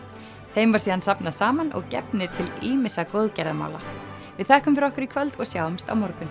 þeim var síðan safnað saman og gefnir til ýmissa góðgerðamála við þökkum fyrir okkur í kvöld og sjáumst á morgun